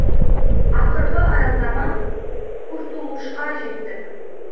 ақырғы аялдама куртулушқа жеттік